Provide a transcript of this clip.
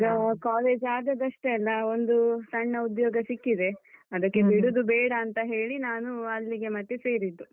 ಈಗ college ಆದದಷ್ಟೇ ಅಲ ಒಂದು ಸಣ್ಣ ಉದ್ಯೋಗ ಸಿಕ್ಕಿದೆ, ಅದಕ್ಕೆ ಬಿಡುದು ಬೇಡ ಅಂತ ಹೇಳಿ ನಾನು ಅಲ್ಲಿಗೆ ಮತ್ತೆ ಸೇರಿದ್ದು.